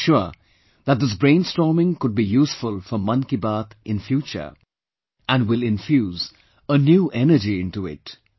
And I am sure that this brainstorming could be useful for Mann Ki Baat in future and will infuse a new energy into it